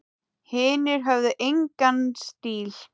Hinir höfðu engan stíl.